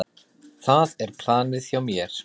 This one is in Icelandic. Það er planið hjá mér.